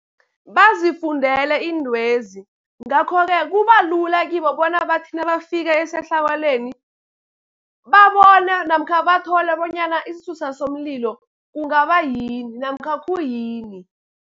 Bazifundele iintwezi, ngakho-ke kuba lula kibo bona bathi nabafika esehlakalweni, babone namkha bathole bonyana isisusa somlilo kungaba yini namkha khuyini.